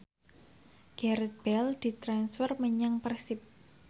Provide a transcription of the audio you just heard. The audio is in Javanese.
Gareth Bale ditransfer menyang Persib